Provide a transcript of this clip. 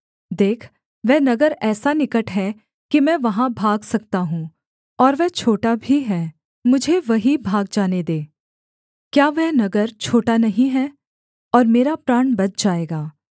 देख वह नगर ऐसा निकट है कि मैं वहाँ भाग सकता हूँ और वह छोटा भी है मुझे वहीं भाग जाने दे क्या वह नगर छोटा नहीं है और मेरा प्राण बच जाएगा